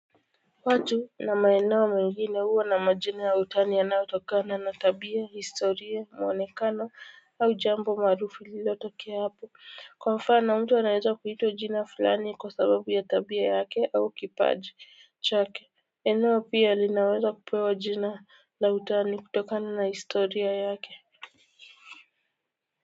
Watu na maeneo mengine huwa na majina ya utani yanayotokana na tabia, historia muonekano au jambo maarufu lililo tokea hapo. Kwa mfano mtu anaweza kuitwa jina fulani kwa sababu ya tabia yake au kipaji chake. Eneo pia linaweza kupewa jina la utani kutokana na historia yake.